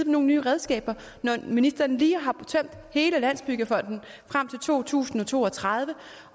nogle nye redskaber når ministeren lige har tømt hele landsbyggefonden frem til to tusind og to og tredive